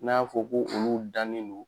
N'an y'a fɔ ko olu dannen don